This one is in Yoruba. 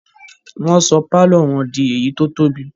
Wọ́n sọ pálọ̀ wọn di èyí tó tóbi